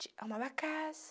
Ti, arrumava a casa.